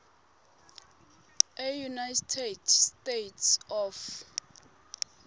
eunited states of